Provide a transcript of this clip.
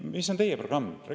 Mis on teie programm?